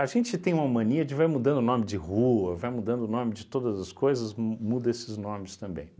A gente tem uma mania de vai mudando o nome de rua, vai mudando o nome de todas as coisas, mu muda esses nomes também.